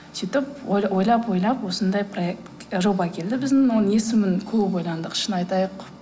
сөйтіп ойлап ойлап осындай жоба келді біздің оның есімін көп ойландық шын айтайық